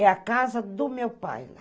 É a casa do meu pai lá.